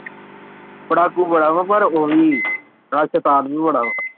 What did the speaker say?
ਪੜ੍ਹਾਕੂ ਬੜਾ ਵਾਂ ਪਰ ਉਹੀ ਮੈਂ ਸੈਤਾਨ ਵੀ ਬੜਾ ਵਾਂ।